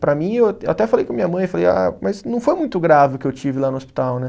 Para mim, eu até falei com minha mãe, falei, ah, mas não foi muito grave o que eu tive lá no hospital, né?